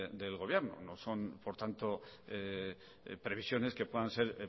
del gobierno no son por tanto previsiones que puedan ser